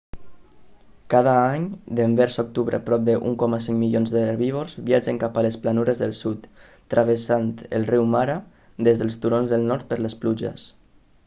cada any devers octubre prop de 1.5 milions d'herbívors viatgen cap a les planures del sud travessant el riu mara des dels turons del nord per les pluges